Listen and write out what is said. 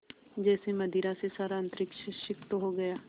जैसे मदिरा से सारा अंतरिक्ष सिक्त हो गया